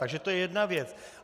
Takže to je jedna věc.